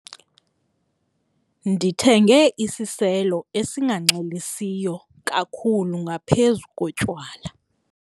Ndithenge isiselo esinganxilisiyo kakhulu ngaphezu kotywala.